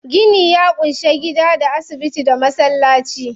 Gini ya ƙunshi gidaje, da asibiti, da masallaci.